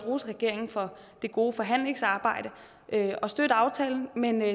rose regeringen for det gode forhandlingsarbejde og støtte aftalen men